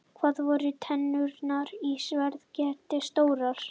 Hvað voru tennurnar í sverðkettinum stórar?